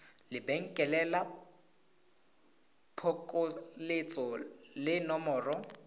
lebenkele la phokoletso le nomoro